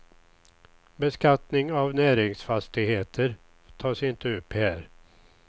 Beskattning av näringsfastigheter tas inte upp här.